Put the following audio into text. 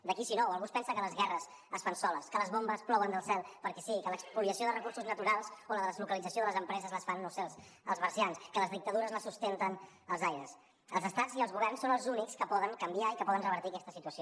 de qui si no o algú es pensa que les guerres es fan soles que les bombes plouen del cel perquè sí i que l’espoliació de recursos naturals o la deslocalització de les empreses les fan no ho sé els marcians que les dictadures les sustenten els aires els estats i els governs són els únics que poden canviar i que poden revertir aquesta situació